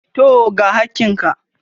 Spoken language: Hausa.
Tooo, ga hakkin ka.